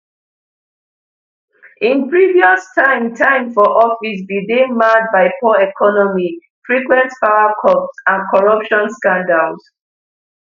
im previous time time for office bin dey marred by poor economy frequent powercuts and corruption scandals